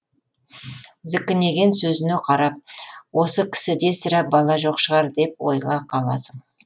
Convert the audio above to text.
зікінеген сөзіне қарап осы кісіде сірә бала жоқ шығар деп ойға қаласың